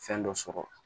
Fɛn dɔ sɔrɔ